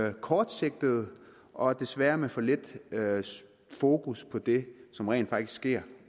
er kortsigtede og desværre med for lidt fokus på det som rent faktisk sker